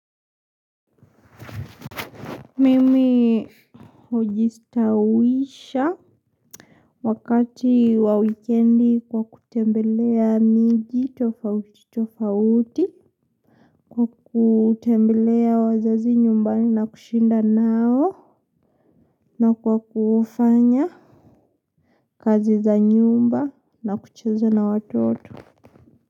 Mimi hujistawisha wakati wa wikendi kwa kutembelea miji tofauti tofauti kwa kutembelea wazazi nyumbani na kushinda nao na kwa kufanya kazi za nyumba na kucheza na watoto.